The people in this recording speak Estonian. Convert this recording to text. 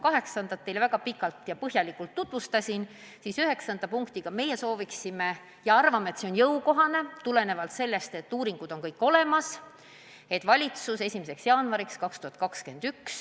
Kaheksandat ma teile väga pikalt ja põhjalikult tutvustasin, aga üheksandas punktis me avaldame soovi, et valitsus jõustaks selle paketi 1. jaanuariks 2021.